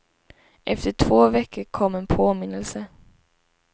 Efter två veckor kom en påminnelse.